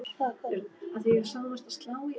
Ég er farinn upp úr.